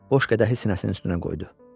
Boş qədəhi sinəsinin üstünə qoydu.